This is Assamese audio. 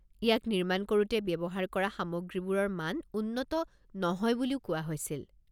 ইয়াক নিৰ্মাণ কৰোঁতে ব্যৱহাৰ কৰা সামগ্ৰীবোৰৰ মান উন্নত নহয় বুলিও কোৱা হৈছিল।